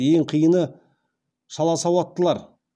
ең қиыны шаласауаттылар